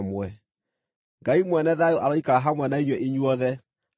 Ngai mwene thayũ aroikara hamwe na inyuĩ inyuothe. Ameni.